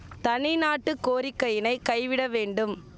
தனிநாட்டுக் கோரிக்கையினை கைவிட வேண்டும்